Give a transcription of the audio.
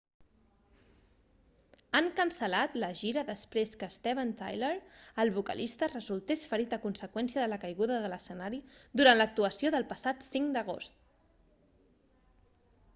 han cancel·lat la gira després que steven tyler el vocalista resultés ferit a conseqüència de la caiguda de l'escenari durant l'actuació del passat 5 d'agost